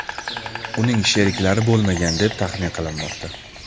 Uning sheriklari bo‘lmagan, deb taxmin qilinmoqda.